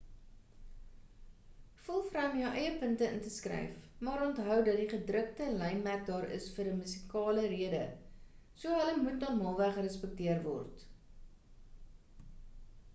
voel vry om jou eie punte in te skryf maar onthou dat die gedrukte lynmerke daar is vir 'n musikale rede so hulle moet normaalweg respekteer word